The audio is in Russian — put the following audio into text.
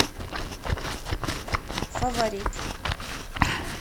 фаворит